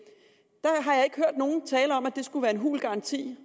nogen tale om at det skulle være en hul garanti